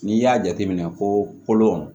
N'i y'a jateminɛ kolon